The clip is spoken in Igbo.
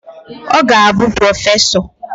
Ọ ga-abụ prọfesọ